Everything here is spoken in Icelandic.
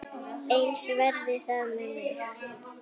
Eins verði það með mig.